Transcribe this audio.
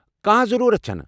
کانٛہہ ضروُرت چھنہٕ۔